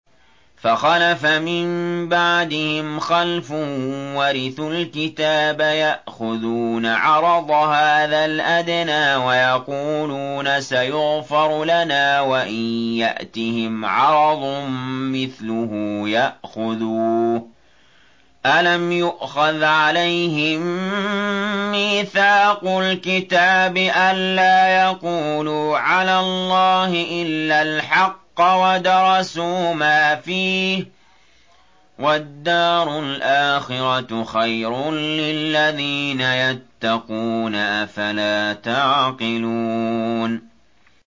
فَخَلَفَ مِن بَعْدِهِمْ خَلْفٌ وَرِثُوا الْكِتَابَ يَأْخُذُونَ عَرَضَ هَٰذَا الْأَدْنَىٰ وَيَقُولُونَ سَيُغْفَرُ لَنَا وَإِن يَأْتِهِمْ عَرَضٌ مِّثْلُهُ يَأْخُذُوهُ ۚ أَلَمْ يُؤْخَذْ عَلَيْهِم مِّيثَاقُ الْكِتَابِ أَن لَّا يَقُولُوا عَلَى اللَّهِ إِلَّا الْحَقَّ وَدَرَسُوا مَا فِيهِ ۗ وَالدَّارُ الْآخِرَةُ خَيْرٌ لِّلَّذِينَ يَتَّقُونَ ۗ أَفَلَا تَعْقِلُونَ